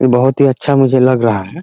ये बहुत ही अच्छा मुझे लग रहा है ।